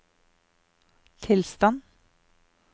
tilstand